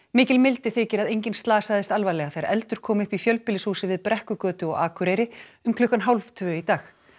mikil mildi þykir að enginn slasaðist alvarlega þegar eldur kom upp í fjölbýlishúsi við Brekkugötu á Akureyri um klukkan hálftvö í dag